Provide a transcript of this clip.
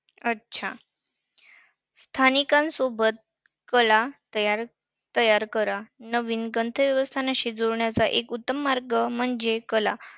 अच्छा! स्थानिकांसोबत कला~ कला तयार करा. नवीन गंतव्यस्थानाशी जोडण्याचा एक उत्तम मार्ग म्हणजे कला.